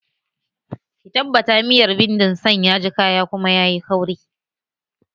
Ki tabbata miyar bindin san yaji kaya kuma yayi kauri!